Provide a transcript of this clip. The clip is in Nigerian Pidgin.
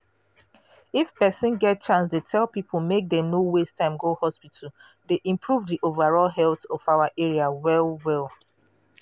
if persin get chance dey tell people make dem no waste time go hospital dey improve di overall health of our area well well.